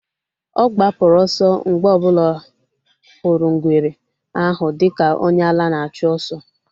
Ọ gbapụrụ ọsọ mgbe ọ bụla hụrụ ngwere ahụ dika onye ala na-achụ oso